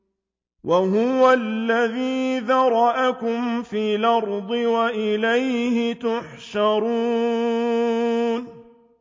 وَهُوَ الَّذِي ذَرَأَكُمْ فِي الْأَرْضِ وَإِلَيْهِ تُحْشَرُونَ